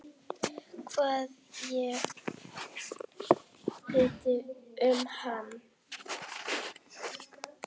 Hvað ég hélt um hann?